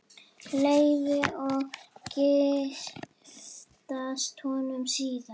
Leifi og giftast honum síðar.